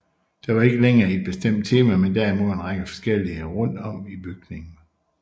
Der var ikke længere et bestemt tema men derimod en række forskellige rundt om i bygningen